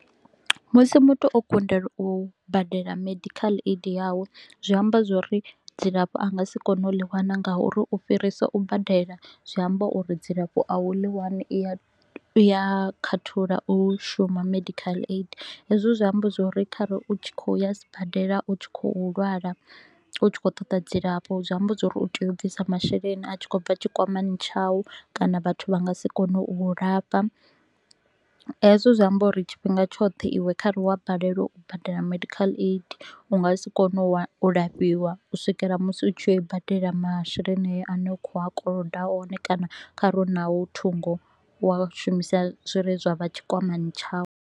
Musi muthu o kundelwa u badela medical aid yawe, zwi amba zwa uri dzilafho a nga si kone u ḽi wana ngauri u fhirisa u badela zwi amba uri dzilafho a u ḽi wani. I a a khathulo u shuma medical aid, hezwo zwi amba zwa uri khare u tshi kho u ya sibadela, u tshi kho u lwala, u tshi kho u ṱoda dzilafho, zwi amba zwa uri u tea u bvisa masheleni a tshi kho u bva tshikwamani tshau kana vhathu vha nga si kone u u lafha. Hezwo zwi amba uri tshifhinga tshoṱhe iwe kha re wa balelwa u badela medical aid, u nga si kone u wa u lafhiwa u swikela musi u tshi yo i badela masheleni ayo a ne u kho a koloda one kana kha re u nao thungo wa shumisa zwi re tshikwamani tshau.